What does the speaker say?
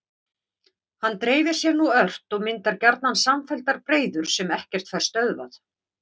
Hann dreifir sér nú ört og myndar gjarnan samfelldar breiður sem ekkert fær stöðvað.